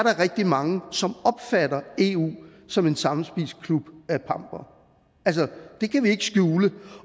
rigtig mange som opfatter eu som en sammenspist klub af pampere altså det kan vi ikke skjule